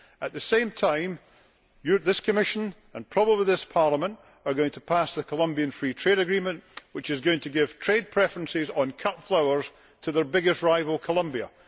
At the same time this Commission and probably this Parliament are going to pass the Colombia Free Trade Agreement which is going to give trade preferences on cut flowers to their biggest rival, Colombia.